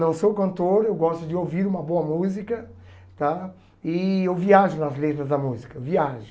Não sou cantor, eu gosto de ouvir uma boa música tá e eu viajo nas letras da música, viajo.